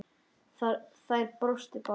Þær brostu báðar.